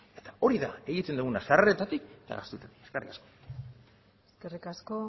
eta hori da egiten duguna sarreretatik eta gastuetatik eskerrik asko eskerrik asko